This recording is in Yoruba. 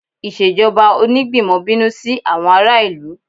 Ìṣèjọba Onígbìmọ̀ bínú sí àwọn ará ìlú